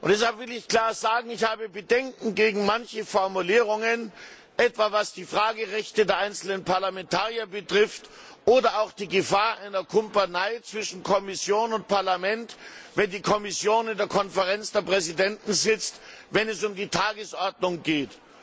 Deshalb will ich klar sagen Ich habe Bedenken gegen manche Formulierungen, etwa was die Fragerechte der einzelnen Parlamentarier betrifft oder auch die Gefahr einer Kumpanei zwischen Kommission und Parlament, wenn die Kommission in der Konferenz der Präsidenten sitzt, wenn es um die Tagesordnung geht.